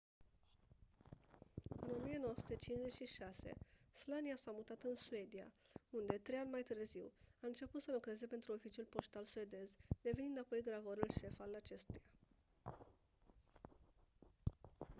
în 1956 słania s-a mutat în suedia unde trei ani mai târziu a început să lucreze pentru oficiul poștal suedez devenind apoi gravorul șef al acestuia